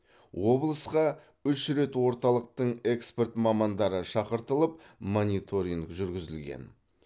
облысқа үш рет орталықтың эксперт мамандары шақыртылып мониторинг жүргізілген